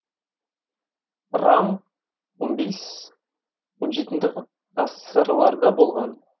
раң он бес он жетінді ғасырларда болған